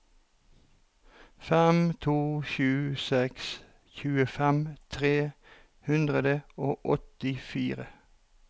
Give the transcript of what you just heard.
fem to sju seks tjuefem tre hundre og åttifire